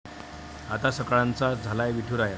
आता सकळांचा झालाय विठुराया!